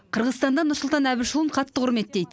қырғызстанда нұрсұлтан әбішұлын қатты құрметтейді